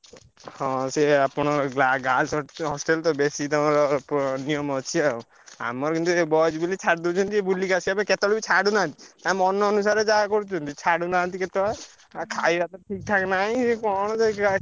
ହଁ ସେୟା ଆପଣ ଗ୍ଲା ଗା girls ହ hostel ତ ବେଶୀ ତମର ଉଁ ନିୟମ ଅଛି ଆଉ ଆମର କିନ୍ତୁ boys ବୋଲି ଛାଡି ଦଉଛନ୍ତି ଟିକେ ବୁଲିକି ଆସିବା ପାଇଁ କେତବେଳେ ବି ଛାଡୁନାହାନ୍ତି ତାଙ୍କ ମନ ଅନୁସାରେ ଯାହା କରୁଛନ୍ତି ଛାଡୁନାହାନ୍ତି କେତବେଳେ ଆଉ ଖାଇବା ଠିକ୍ ଠାକ୍ ନାଇଁ କଣ